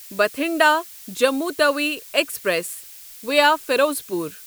Bathinda Jammu Tawi express via Ferozepur